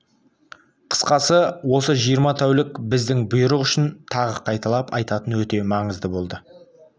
қысқасы осы жиырма тәулік біздің бұйрық үшін тағы қайталап айтайын өте маңызды болды